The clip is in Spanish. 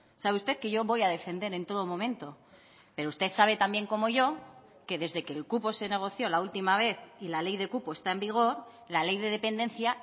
sabe usted que yo voy a defender en todo momento pero usted sabe también como yo que desde que el cupo se negoció la última vez y la ley de cupo está en vigor la ley de dependencia